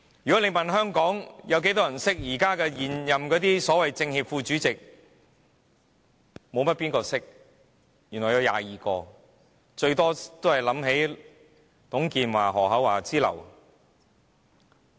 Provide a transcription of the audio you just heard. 如果問香港有多少人認識現任的所謂政協副主席，沒有多少人認識，原來有22名，最多只想起董建華、何厚鏵之流。